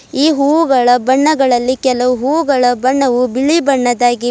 ಈ ಹೂಗಳ ಬಣ್ಣಗಳಲ್ಲಿ ಕೆಲವು ಹೂಗಳ ಬಣ್ಣವು ಬಿಳಿ ಬಣ್ಣದಾಗಿ --